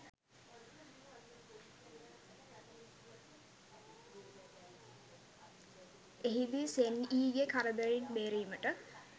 එහිදී සෙන් යීගේ කරදරයෙන් බේරීමට